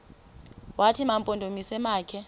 wathi mampondomise makhe